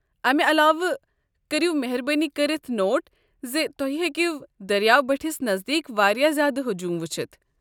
امہ علاوٕ کٔرو مہربٲنی کٔرتھ نوٹ ز تُہۍ ہیٚکو دٔریاو بٔٹھس نزدیٖک واریاہ زیادٕ ہجوٗم وٕچھتھ۔